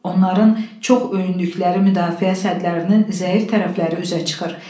Onların çox öyündükləri müdafiə sədlərinin zəif tərəfləri üzə çıxır.